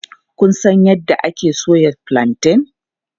Kun san yadda ake soya fulanten?